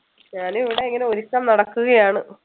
ഞാൻ ഇവിടെ ഇങ്ങനെ ഒരുക്കം നടക്കുകയാണ്.